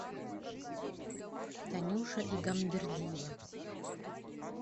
танюша игамбердиева